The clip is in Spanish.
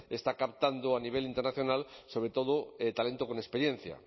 está captando a nivel internacional sobre todo talento con experiencia